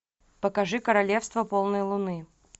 покажи королевство полной луны